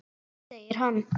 Segir hann.